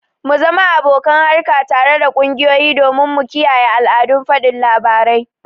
mu zama abokan harka tare da kungiyoyi domin mu kiyaye al'adun fadin labarai